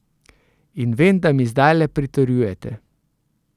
In vem, da mi zdajle pritrjujete.